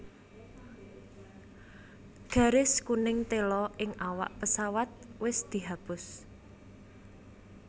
Garis kuning tela ing awak pesawat wis dihapus